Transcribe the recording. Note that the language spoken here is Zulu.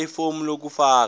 gqwalisa ifomu lokufaka